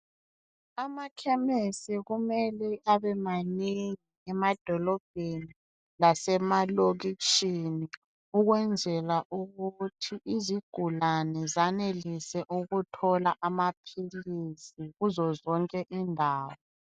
Amakhemesi kumele abe manengi emadolobheni lasemalokitshini ukwenzela ukuthi izigulane zanelise ukuthola amaphilisi kuzo zonke indawo.